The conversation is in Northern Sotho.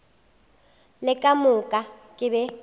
le ka moka ke be